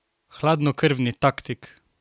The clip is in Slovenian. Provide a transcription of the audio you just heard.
Hladnokrvni taktik?